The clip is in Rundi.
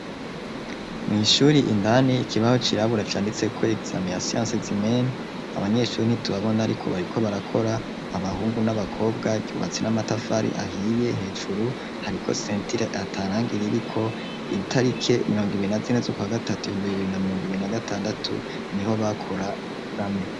Mw'ishuri indani ikibaho cirabura canditseko egizame ya siyanse zimene, abanyeshuri ntitubabona ariko bariko barakora abahungu n'abakobwa, ryubatse n'amatafari ahiye hejuru hariko sentire ata rangi ririko, itarike mirongo ibiri na zine z'ukwa gatatu ibihumbi bibiri na mirongo ibiri na gatandatu niho bakora egizame.